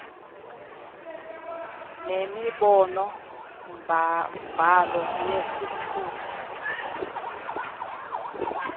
nenombolo mbhalo yesithuthi